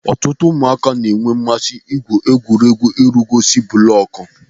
Ọtụtụ ụmụaka na-enwe mmasị n'egwuregwu ịrugosi bụlọkụ.